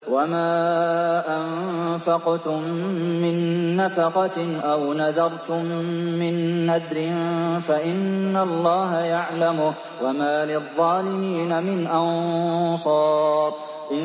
وَمَا أَنفَقْتُم مِّن نَّفَقَةٍ أَوْ نَذَرْتُم مِّن نَّذْرٍ فَإِنَّ اللَّهَ يَعْلَمُهُ ۗ وَمَا لِلظَّالِمِينَ مِنْ أَنصَارٍ